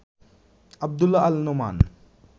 Abdullah Al Noman